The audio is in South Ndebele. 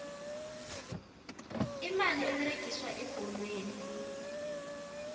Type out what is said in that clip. imali eberegiswa ebholweni